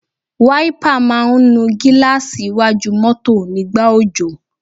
Wáípà máa ń nu gíláàsì iwájú mọ́tọ̀ nígbà òjò.